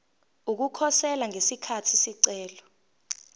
ukukhosela ngesikhathi isicelo